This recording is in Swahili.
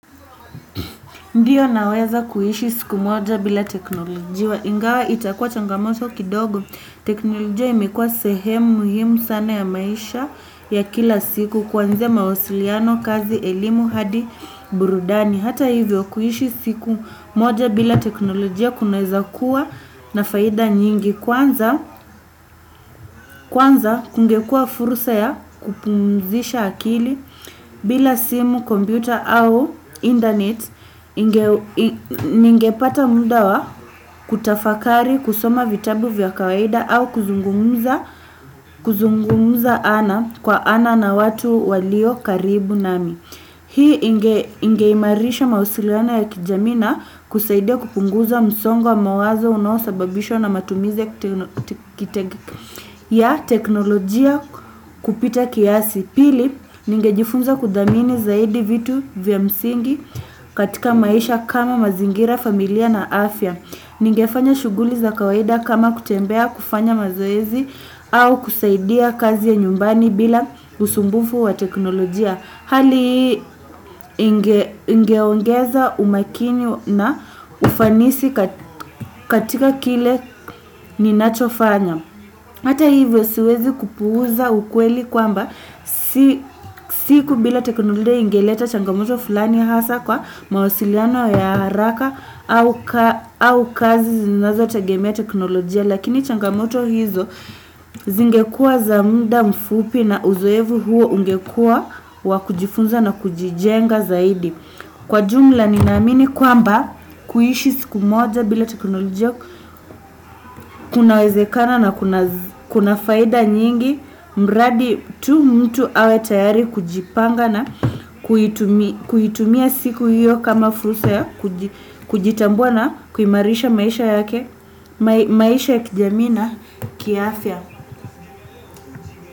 Ndio naweza kuishi siku moja bila teknolojia ingawa itakua changamoto kidogo teknolojia imekuwa sehemu muhimu sana ya maisha ya kila siku kwanzia mawasiliano, kazi, elimu hadi burudani hata hivyo kuishi siku moja bila teknolojia kunaweza kuwa na faida nyingi kwanza kwana kungekua fursa ya kupumzisha akili bila simu, kompyuta au internet ningepata muda wa kutafakari, kusoma vitabu vya kawaida au kuzungumza ana kwa ana na watu walio karibu nami hii ingeimarisha mawasiliano ya kijaii na kusaidia kupunguza msongo mawazo unosababisho na matumizi teknolojia kupita kiasi pili ningejifunza kudhamini zaidi vitu vya msingi katika maisha kama mazingira, familia na afya. Ningefanya shughuli za kawaida kama kutembea kufanya mazoezi au kusaidia kazi za nyumbani bila usumbufu wa teknolojia. Hali hii ingeongeza umakini na ufanisi katika kile ninachofanya. Hata hivyo siwezi kupuuza ukweli kwamba siku bila teknolojia ingeleta changamoto fulani hasa kwa mawasiliano ya haraka au kazi zinazo tegemea teknolojia lakini changamoto hizo zingekua za muda mfupi na uzoevu huo ungekua wakujifunza na kujijenga zaidi. Kwa jumla nina amini kwamba kuishi siku moja bila teknolojia kunawezekana na kuna faida nyingi mradi tu mtu awe tayari kujipanga na kuitumia siku hiyo kama fursa ya kujitambua na kuimarisha maisha ya kijamii na kiafya.